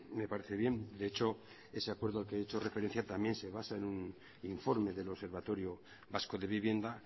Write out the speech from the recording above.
me parece bien de hecho ese acuerdo al que ha hecho referencia también se basa en un informe del observatorio vasco de vivienda